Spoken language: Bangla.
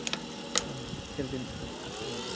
হম health insurance থাকে মোটামোটি